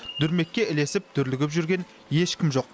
дүрмекке ілесіп дүрлігіп жүрген ешкім жоқ